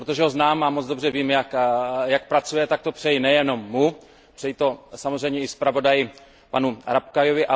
Protože ho znám a moc dobře vím, jak pracuje, tak to přeji nejenom jemu, přeji to samozřejmě i zpravodaji panu Rapkayovi.